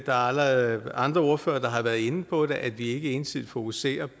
er allerede andre ordførere der har været inde på det at vi ikke ensidigt fokuserer